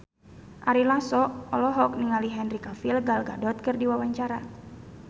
Ari Lasso olohok ningali Henry Cavill Gal Gadot keur diwawancara